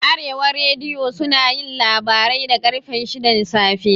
Arewa rediyo sunayin labarai da ƙarfe shidan safe